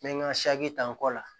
N bɛ n ka ta n kɔ la